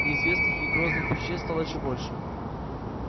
неизвестных и грозных вещей стало ещё больше